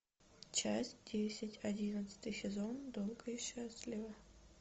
часть десять одиннадцатый сезон долго и счастливо